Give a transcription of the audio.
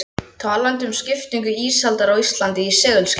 Tafla um skiptingu ísaldar á Íslandi í segulskeið.